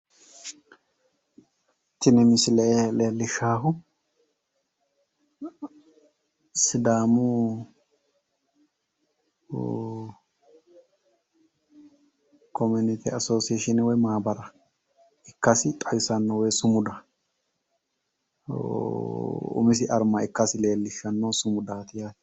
Tini misile leellishshaahu sidaamu komunite assoseeshiine woy maamara ikkasi xawisanno woy sumuda umisi armma ikkasi xawisanno sumudaati yaate.